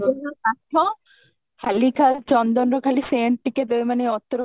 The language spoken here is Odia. ହୁଁ ବାଧ୍ୟ ଖାଲିଟାରେ ଚନ୍ଦନ ର ଖାଲି sent ଟିକେ ଦେବେ ମାନେ ଅତର